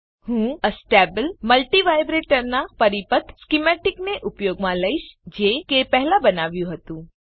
હું astable multivibrator નાં પરિપથ સ્કીમેટીકને ઉપયોગમાં લઈશ જે કે પહેલા બનાવ્યું હતું